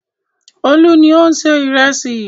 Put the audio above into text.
Olú ni ó ń se ìrẹsì.